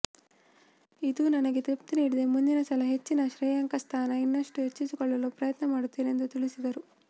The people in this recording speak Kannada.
ಇದು ನನಗೆ ತೃಪ್ತಿ ನೀಡಿದೆ ಮುಂದಿನ ಸಲ ಹೆಚ್ಚಿನ ಶ್ರೇಯಾಂಕ ಸ್ಥಾನ ಇನ್ನಷ್ಟು ಹೆಚ್ಚಿಸಿಕೊಳ್ಳಲು ಪ್ರಯತ್ನ ಮಾಡುತ್ತೇನೆ ಎಂದು ತಿಳಿಸಿದರು